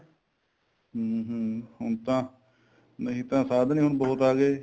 ਹਮ ਹਮ ਹੁਣ ਤਾਂ ਨਹੀਂ ਤਾਂ ਸਾਧਨ ਹੀ ਬਹੁਤ ਆਗੇ